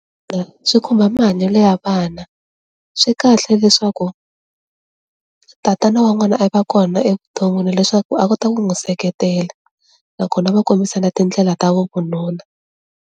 Swi khumba mahanyelo ya vana, swi kahle leswaku tatana wa n'wana a va kona evuton'wini leswaku a kota ku n'wi seketela nakona va kombisana tindlela ta vo vununa.